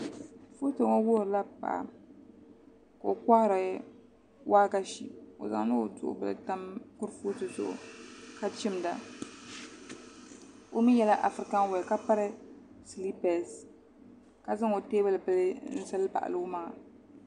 Foto ŋo wuhurila paɣa ka o kohari waagashe o zaŋla o duɣu bili tam kurifooti zuɣu ka chimda o mii yɛla afirikan wee ka piri siliipees ka zaŋ o teebuli bili n zali baɣali o maŋa